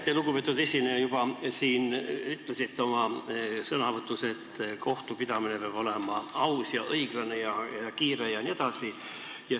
Te, lugupeetud esineja, juba ütlesite oma sõnavõtus, et kohtupidamine peab olema aus ja õiglane ja kiire jne.